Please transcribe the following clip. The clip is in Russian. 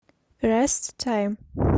рэст тайм